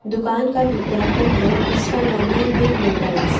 दुकान का विज्ञापन है जिसका नाम है बिग मोबाइल्स --